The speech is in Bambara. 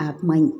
A man ɲi